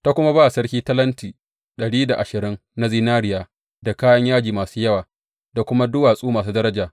Ta kuma ba sarki talenti dari da ashirin na zinariya, da kayan yaji masu yawa, da kuma duwatsu masu daraja.